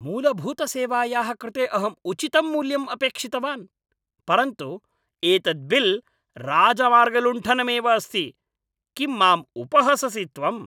मूलभूतसेवायाः कृते अहम् उचितं मूल्यम् अपेक्षितवान्, परन्तु एतत् बिल् राजमार्गलुण्ठनमेव अस्ति! किम् माम् उपहससि त्वम्?